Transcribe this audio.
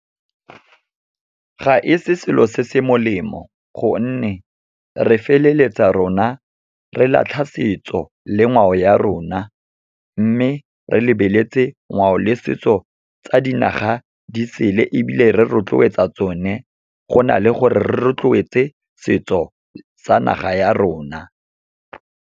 Ga e se selo se se molemo, gonne re feleletsa rona re latlha setso le ngwao ya rona. Mme, re lebeletse ngwao le setso tsa dinaga di sele, ebile re rotloetsa tsone go na le gore re rotloetse setso sa naga ya rona.